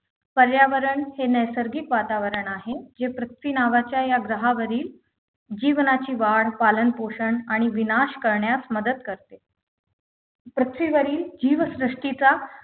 पर्यावरण हे नैसर्गिक वातावरण आहे जे पृथ्वी नावाच्या या ग्रहावरील जीवनाची वाढ पालन पोषण आणि विनाश करण्यास मदत करते पृथ्वीवरील जीवसृष्टीचा